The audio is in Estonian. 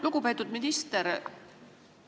Lugupeetud minister!